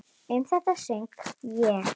Um þetta söng ég: